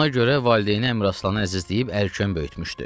Ona görə valideyni Əmiraslanı əzizləyib əl-köyn böyütmüşdü.